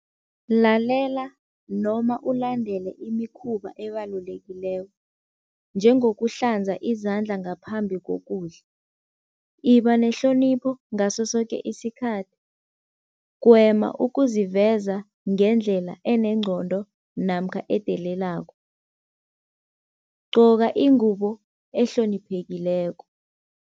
Lalela noma ulandele imikhuba ebalulekileko njengokuhlanza izandla ngaphambi kokudla, iba nehlonipho ngaso soke isikhathi, gwema ukuziveza ngendlela enengqondo namkha edelelako, gcoka ingubo ehloniphekileko.